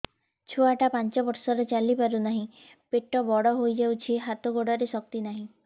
ଛୁଆଟା ପାଞ୍ଚ ବର୍ଷର ଚାଲି ପାରୁ ନାହି ପେଟ ବଡ଼ ହୋଇ ଯାଇଛି ହାତ ଗୋଡ଼ରେ ଶକ୍ତି ନାହିଁ